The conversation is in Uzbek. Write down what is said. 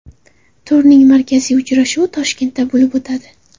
Turning markaziy uchrashuvi Toshkentda bo‘lib o‘tadi.